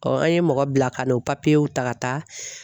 an ye mɔgɔ bila ka na o papiyew ta ka taa.